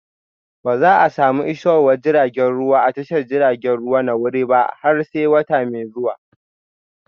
Ba za a samu isowar jiragen ruwa a tashar jiragen ruwa na warri ba har sai wata mai zuwa